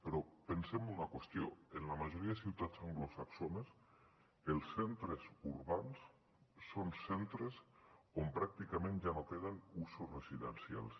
però pensem en una qüestió en la majoria de ciutats anglosaxones els centres urbans són centres on pràcticament ja no queden usos residencials